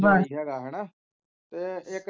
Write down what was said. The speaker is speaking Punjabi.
ਜੀ ਹੈਗਾ ਹੈਨਾ ਤੇ ਇੱਕ